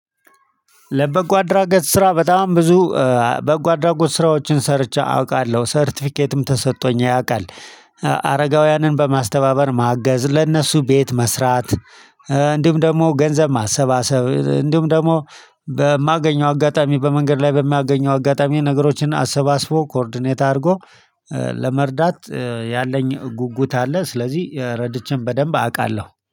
ለበጎ አድራጎት ስራ በጣም ብዙ በጎ አድራጎት ስራዎችን ሰርቼ አውቃለሁ ሰርተፊኬትም ተሰጥቶኝ ያውቃል። አረጋውያንን በማስተባበር ማገዝ ለእነሱ ቤት መስራት። እንዲሁም ደግሞ ገንዘብ ማሰባሰብ እንዲሁም ደግሞ በማገኘው አጋጣሚ በመንገድ ላይ በማገኘው አጋጣሚ ነገሮችን አሰባስቦ ኮርዲኔት አድርጎ። ለመርዳት ያለኝ ጉጉት አለ ስለዚህ ረድቼም በደንብ አውቃለሁ